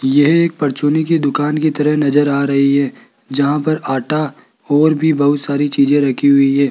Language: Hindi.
यह एक परचूनी की दुकान की तरह नजर आ रही है जहां पर आटा और भी बहुत सारी चीजे रखी हुई है।